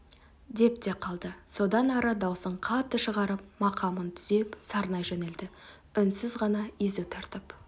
деп те қалды содан ары даусын қатты шығарып мақамын түзеп сарнай жөнелді үнсіз ғана езу тартып